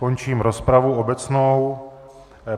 Končím rozpravu obecnou.